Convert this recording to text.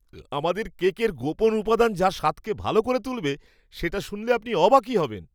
আমাদের কেকের গোপন উপাদান যা স্বাদকে ভাল করে তুলবে, সেটা শুনলে আপনি অবাকই হবেন।